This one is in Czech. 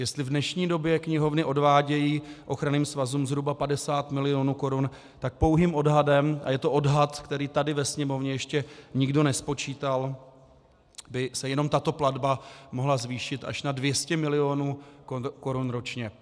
Jestli v dnešní době knihovny odvádějí ochranným svazům zhruba 50 milionů korun, tak pouhým odhadem, a je to odhad, který tady ve Sněmovně ještě nikdo nespočítal, by se jenom tato platba mohla zvýšit až na 200 milionů korun ročně.